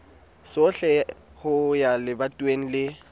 sohle ho ya lebatoweng le